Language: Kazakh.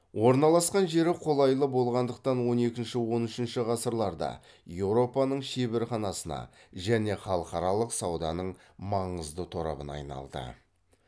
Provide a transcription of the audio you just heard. орналасқан жері қолайлы болғандықтан он екінші он үшінші ғасырларда еуропаның шеберханасына және халықаралық сауданың маңызды торабына айналды